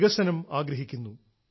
വികസനം ആഗ്രഹിക്കുന്നു